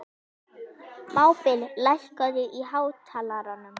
Hann heilsaði og bauð í pípu.